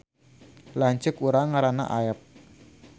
Lanceuk urang ngaranna Aep